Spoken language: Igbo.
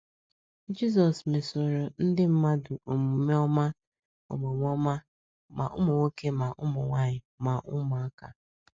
Jizọs mesoro ndị mmadụ omume ọma omume ọma, ma ụmụ nwoke, ma ụmụ nwaanyị, ma ụmụaka.